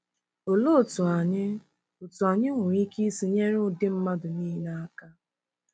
Olee otú anyị otú anyị nwere ike isi nyere ụdị mmadụ niile aka?